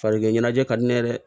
Farikɛ ɲɛnajɛ ka di ne ye dɛ